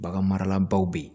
Bagan marala baw be yen